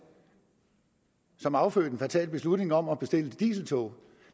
affødte en fatal beslutning om at bestille de dieseltog